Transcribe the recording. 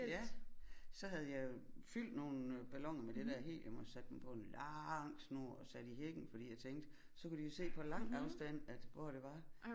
Ja så havde jeg jo fyldt nogle balloner med det der helium og sat dem på en lang snor og sat i hækken fordi jeg tænkte så kunne de jo se på lang afstand at hvor det var